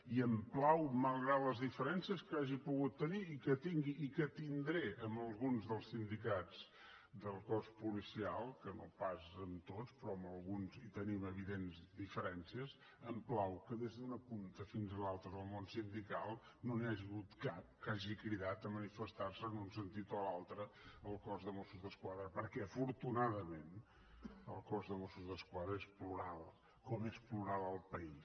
i em plau malgrat les diferències que hagi pogut tenir i que tingui i que tindré amb alguns dels sindicats del cos policial que no pas amb tots però amb alguns hi tenim evidents diferències que des d’una punta fins a l’altra del món sindical no n’hi hagi hagut cap que hagi cridat a manifestar se en un sentit o un altre al cos de mossos d’esquadra perquè afortunadament el cos de mossos d’esquadra és plural com és plural el país